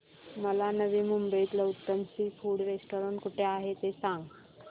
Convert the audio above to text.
मला नवी मुंबईतलं उत्तम सी फूड रेस्टोरंट कुठे आहे ते सांग